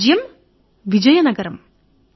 రాజ్యముపేరు విజయ నగరం